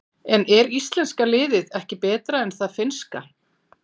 En er íslenska liðið ekki betra en það finnska?